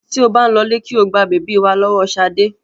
Tí ó bá ń lọlé kí o gba bèbí wá lọ́wọ́ Ṣadé.